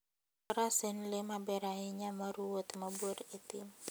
Faras en le maber ahinya mar wuoth mabor e thim.